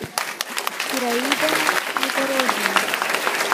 ираида непорожняя